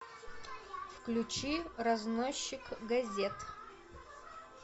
включи разносчик газет